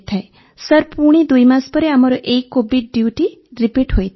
sir ପୁଣି ଦୁଇ ମାସ ପରେ ଆମର ଏହି କୋଭିଡ୍ ଡ୍ୟୁଟି ରିପିଟ୍ ହୋଇଥାଏ